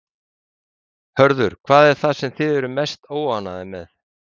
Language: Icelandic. Heimir Már: Hörður, hvað er það sem þið eruð mest óánægðir með?